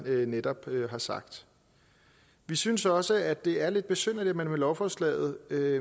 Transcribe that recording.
jeg netop har sagt vi synes også det er lidt besynderligt at man med lovforslaget